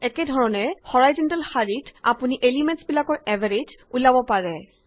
একেধৰণে হৰাইযন্টেল শাৰীত আপুনি এলিমেন্টচ বিলাকৰ এভাৰেজ উলিয়াব পাৰে